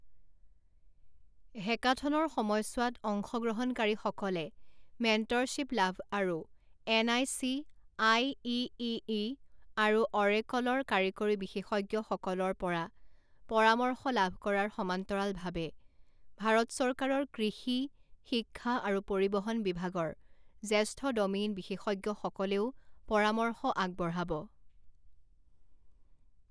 হেকাথনৰ সময়ছোৱাত, অংশগ্ৰহণকাৰীসকলে মেণ্টৰশ্বীপ লাভ আৰু এনআইচি, আইইইই আৰু অৰেকলৰ কাৰিকৰী বিশেষজ্ঞসকলৰপৰা পৰামৰ্শ লাভ কৰাৰ সমান্তৰালভাৱে ভাৰত চৰকাৰৰ কৃষি, শিক্ষা আৰু পৰিবহণ বিভাগৰ জ্যেষ্ঠ ডমেইন বিশেষজ্ঞসকলেও পৰামৰ্শ আগবঢ়াব।